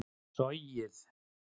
sogið